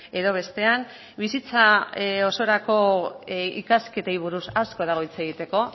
edo bestean bizitza osorako ikasketei buruz asko dago hitz egiteko